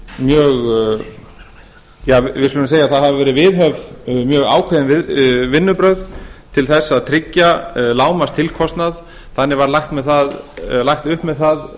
mjög við skulum segja að það hafi verið viðhöfð mjög ákveðin vinnubrögð til þess að tryggja lágmarkstilkostnað þannig var lagt upp með það